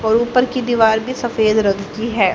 और ऊपर की दीवार भी सफेद रंग की हैं।